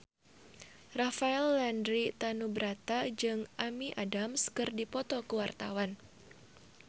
Rafael Landry Tanubrata jeung Amy Adams keur dipoto ku wartawan